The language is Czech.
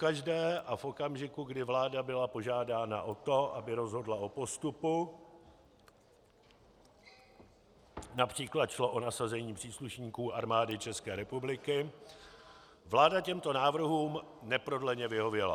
Pokaždé a v okamžiku, kdy vláda byla požádána o to, aby rozhodla o postupu, například šlo o nasazení příslušníků Armády České republiky, vláda těmto návrhům neprodleně vyhověla.